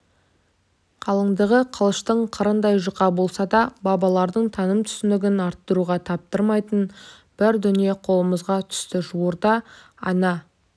қалыңдығы қылыштың қырындай жұқа болса да балалардың таным-түсінігін арттыруға таптырмайтын бір дүние қолымызға түсті жуырда ана